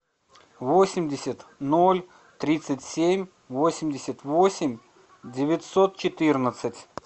восемьдесят ноль тридцать семь восемьдесят восемь девятьсот четырнадцать